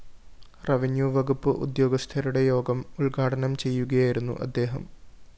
revenue വകുപ്പ് ഉദ്യോഗസ്ഥരുടെ യോഗം ഉദ്ഘാടനം ചെയ്യുകയായിരുന്നു അദ്ദേഹം